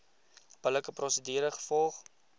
billike prosedure gevolg